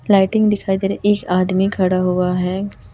Lighting दिखाई दे रे एक आदमी खड़ा हुआ है।